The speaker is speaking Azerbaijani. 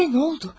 Sizə nə oldu?